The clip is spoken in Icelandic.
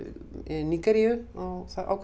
Nígeríu á ákveðnu